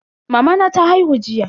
Mamana ta haihu jiya.